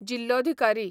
जिल्लोधिकारी